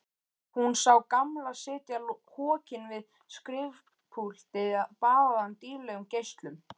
Hún sá Gamla sitja hokinn við skrifpúltið baðaðan dýrlegum geislum.